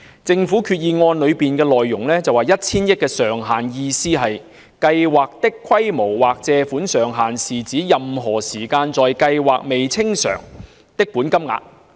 政府在動議擬議決議案的發言中指出 ，1,000 億元上限的意思是"計劃的規模或借款上限是指任何時間在計劃下未清償的本金額。